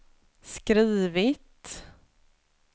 skrivit